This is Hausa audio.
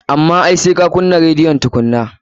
Amma ai sai ka kunnan rediyon tukunnan.